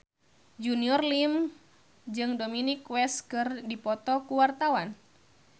Junior Liem jeung Dominic West keur dipoto ku wartawan